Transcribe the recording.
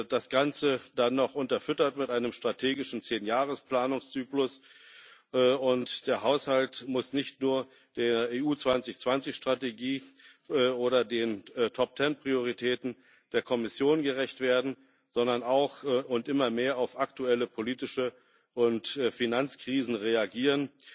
Das Ganze dann noch unterfüttert mit einem strategischen Zehn-Jahres-Planungszyklus, und der Haushalt muss nicht nur der EU 2020 Strategie oder den Top Ten Prioritäten der Kommission gerecht werden, sondern auch und immer mehr auf aktuelle politische und Finanzkrisen reagieren.